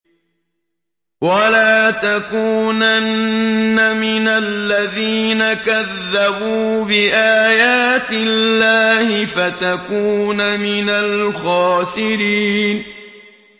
وَلَا تَكُونَنَّ مِنَ الَّذِينَ كَذَّبُوا بِآيَاتِ اللَّهِ فَتَكُونَ مِنَ الْخَاسِرِينَ